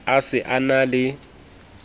a se a na le